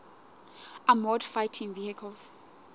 armoured fighting vehicles